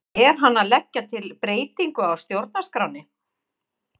Er hann að leggja til breytingu á stjórnarskránni?